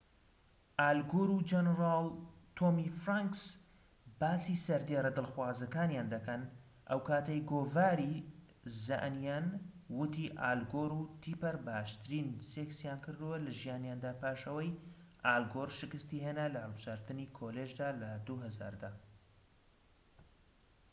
ئال گۆر و جەنەرال تۆمی فرانکس باسی سەردێڕە دڵخوازەکانیان دەکەن ئەوکاتەی گۆڤاری زە ئەنیەن وتی ئال گۆر و تیپەر باشترین سێکسیان کردووە لە ژیانیاندا پاش ئەوەی ئال گۆر شکستی هێنا لە هەڵبژاردنی کۆلیژدا لە ٢٠٠٠ دا